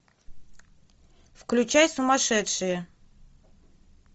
включай сумасшедшие